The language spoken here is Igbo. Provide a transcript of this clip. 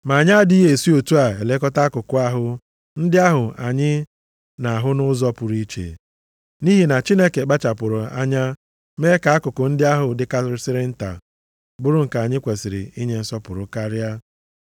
Ma anyị adịghị esi otu a elekọta akụkụ ahụ ndị ahụ anya na-ahụ nʼụzọ pụrụ iche, nʼihi na Chineke kpachapụrụ anya mee ka akụkụ ndị ahụ dịkarịsịrị nta bụrụ nke anyị kwesiri inye nsọpụrụ karịa.